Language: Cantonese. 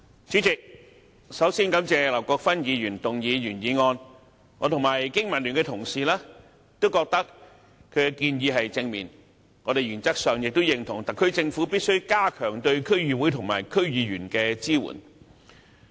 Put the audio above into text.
主席，首先感謝劉國勳議員提出原議案，我和香港經濟民生聯盟的同事都覺得其建議正面，我們原則上亦認同特區政府必須加強對區議會和區議員的支援。